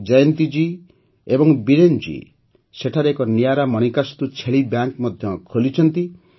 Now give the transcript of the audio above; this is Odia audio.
ଜୟନ୍ତୀ ଜୀ ଓ ବୀରେନ୍ ଜୀ ସେଠାରେ ଏକ ନିଆରା ମାଣିକାସ୍ତୁ ଛେଳି ବ୍ୟାଙ୍କ୍ ମଧ୍ୟ ଖୋଲିଛନ୍ତି